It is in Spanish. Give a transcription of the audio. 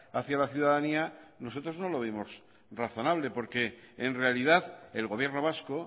hacia la ciudadanía nosotros no lo vimos razonable porque en realidad el gobierno vasco